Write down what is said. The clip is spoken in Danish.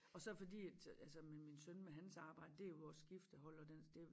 Og så fordi at altså med min søn med hans arbejde det jo også skiftehold og den det